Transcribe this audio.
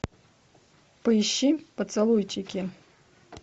поищи поцелуйчики